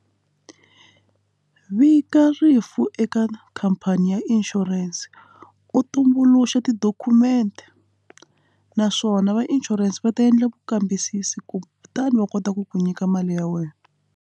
Vika rifu eka khampani ya insurance u tumbuluxa ti-document naswona va insurance va ta endla ku kambisisa ku kutani va kota ku ku nyika mali ya wena.